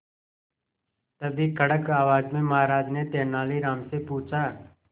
तभी कड़क आवाज में महाराज ने तेनालीराम से पूछा